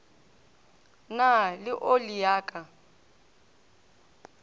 na le oli ya ka